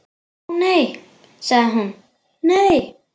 Ó, nei sagði hún, nei.